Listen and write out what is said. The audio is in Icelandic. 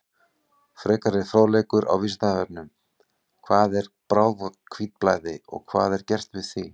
Frekari fróðleikur á Vísindavefnum: Hvað er bráðahvítblæði og hvað er gert við því?